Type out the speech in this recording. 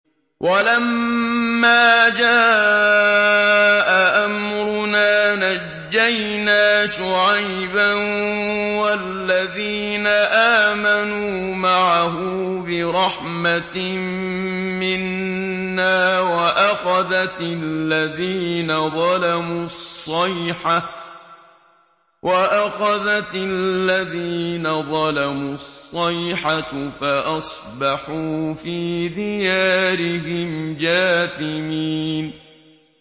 وَلَمَّا جَاءَ أَمْرُنَا نَجَّيْنَا شُعَيْبًا وَالَّذِينَ آمَنُوا مَعَهُ بِرَحْمَةٍ مِّنَّا وَأَخَذَتِ الَّذِينَ ظَلَمُوا الصَّيْحَةُ فَأَصْبَحُوا فِي دِيَارِهِمْ جَاثِمِينَ